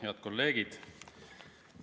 Head kolleegid!